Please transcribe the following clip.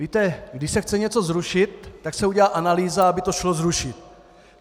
Víte, když se chce něco zrušit, tak se udělá analýza, aby to šlo zrušit.